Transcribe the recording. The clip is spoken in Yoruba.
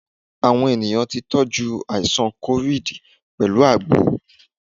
Àwọn èèyàn tí tọ́jú àìsàn COVID pẹ̀lú àgbo.